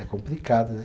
É complicado, né?